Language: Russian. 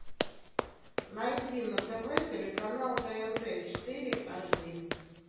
найди на тв телеканал тнт четыре аш ди